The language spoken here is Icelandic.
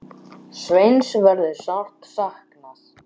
Sveins verður sárt saknað.